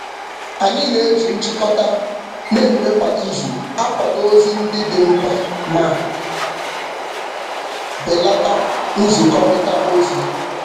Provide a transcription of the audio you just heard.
Anyị na-eji nchịkọta na-eme kwa izu akwado ozi ndị dị mkpa ma belata nzikọrịta ozi.